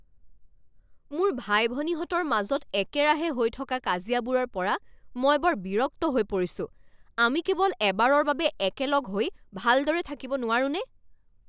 মোৰ ভাই ভনীহঁতৰ মাজত একেৰাহে হৈ থকা কাজিয়াবোৰৰ পৰা মই বৰ বিৰক্ত হৈ পৰিছোঁ। আমি কেৱল এবাৰৰ বাবে একেলগ হৈ ভালদৰে থাকিব নোৱাৰোঁনে?